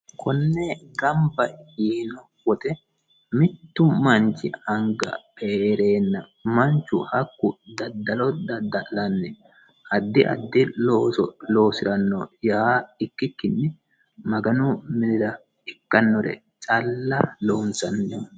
konne gamba yiino wote mittu manchi anga heereenna manchu hakku daddalo dadda'lanni aaddi addi looso loosi'ranno yaa ikkikkinni maganu miira ikkannore calla loonsanniho